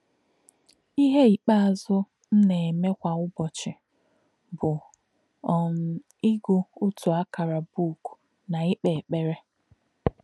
“Íhè̄ íkpè̄zụ̀ m nā̄-èmè̄ kwā ùbọ̀chí̄ bụ́ um ígū̄ ọ̀tú̄ àkà̄rà̄ bụ́ụ̀k nā̄ íkpè̄ èkpèrè̄.